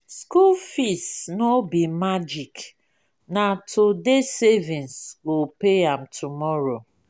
school fees no be magic na today savings go pay am tomorrow.